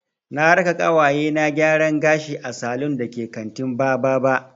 Na raka ƙawaye na gyaran gashi a salun da ke kantin Bababa.